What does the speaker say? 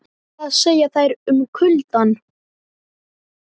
En hvað segja þær um kuldann?